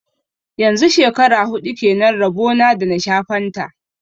Yanzu shekara huɗu kenan rabo na da na sha fanta